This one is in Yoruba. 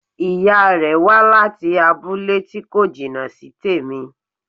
Ìya rẹ̀ wá láti abúlé tí kò jìnà sí tèmi